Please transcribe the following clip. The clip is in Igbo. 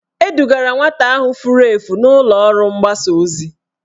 Edugara nwata ahụ furu efu n'ụlọọrụ mgbasa ozi